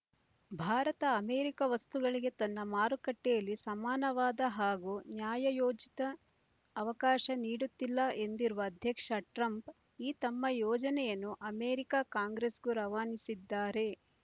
Bharat America ವಸ್ತುಗಳಿಗೆ ತನ್ನ ಮಾರುಕಟ್ಟೆಯಲ್ಲಿ ಸಮಾನವಾದ ಹಾಗೂ ನ್ಯಾಯಯೋಚಿತ ಅವಕಾಶ ನೀಡುತ್ತಿಲ್ಲ ಎಂದಿರುವ ಅಧ್ಯಕ್ಷ ಟ್ರಂಪ್ ಈ ತಮ್ಮ ಯೋಜನೆಯನ್ನು ಅಮೆರಿಕ ಕಾಂಗ್ರೆಸ್‌ಗೂ ರವಾನಿಸಿದ್ದಾರೆ